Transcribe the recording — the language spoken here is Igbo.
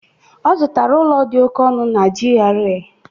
Ọ zụtara ụlọ dị oke ọnụ na GRA.